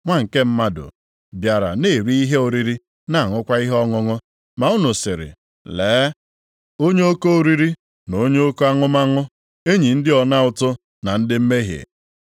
Nwa nke Mmadụ bịara na-eri ihe oriri na-aṅụkwa ihe ọṅụṅụ, ma unu sịrị, ‘Lee, onye oke oriri na onye oke aṅụmaṅụ, enyi ndị ọna ụtụ na ndị mmehie.’